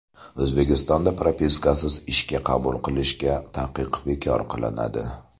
O‘zbekistonda propiskasiz ishga qabul qilishga taqiq bekor qilinadi.